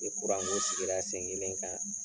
Ni kuranko sigira sen kelen kan